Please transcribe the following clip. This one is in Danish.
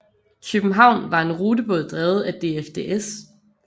Kjøbenhavn var en rutebåd drevet af DFDS